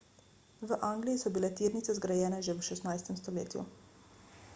v angliji so bile tirnice zgrajene že v 16 stoletju